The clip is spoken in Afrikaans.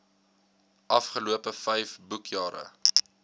afgelope vyf boekjare